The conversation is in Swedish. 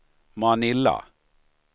Manila